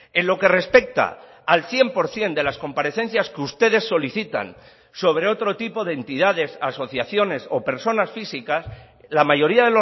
en lo que respecta al cien por ciento de las comparecencias que ustedes solicitan sobre otro tipo de entidades asociaciones o personas físicas la mayoría